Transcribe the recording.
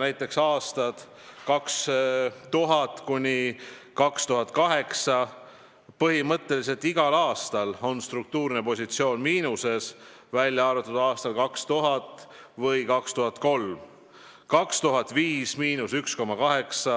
Näiteks aastad 2000–2008, põhimõtteliselt igal aastal oli struktuurne positsioon miinuses, välja arvatud aastail 2000 ja 2003. Aasta 2005: –1,8%,